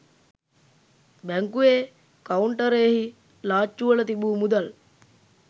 බැංකුවේ කවුන්ටරයෙහි ලාච්චුවල තිබූ මුදල්